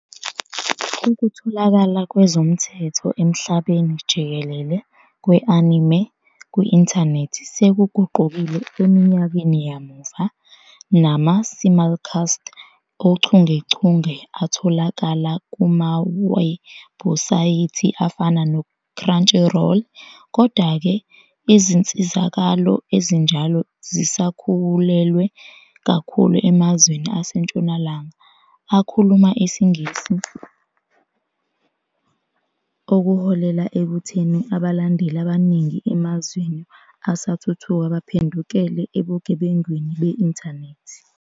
Ukutholakala kwezomthetho emhlabeni jikelele kwe-anime kwi-Intanethi sekuguqukile eminyakeni yamuva, nama- simulcast ochungechunge atholakala kumawebhusayithi afana neCrunchyroll. Kodwa-ke, izinsizakalo ezinjalo zisakhawulelwe kakhulu emazweni aseNtshonalanga, akhuluma isiNgisi, okuholela ekutheni abalandeli abaningi emazweni asathuthuka baphendukele ebugebengwini be-inthanethi.